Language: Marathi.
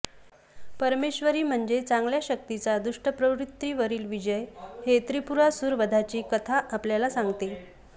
परमेश्वरी म्हणजे चांगल्या शक्तीचा दुष्ट प्रवृत्तींवरील विजय हे त्रिपुरासूर वधाची कथा आपणाला सांगते